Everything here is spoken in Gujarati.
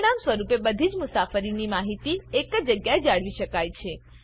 પરિણામ સ્વરૂપે બધી જ મુસાફરીની માહિતીને એક જગ્યાએ જાળવી શકાય છે